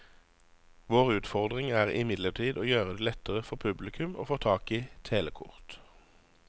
Vår utfordring er imidlertid å gjøre det lettere for publikum å få tak i telekort.